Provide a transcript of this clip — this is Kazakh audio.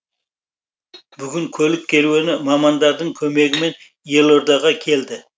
бүгін көлік керуені мамандардың көмегімен елордаға келді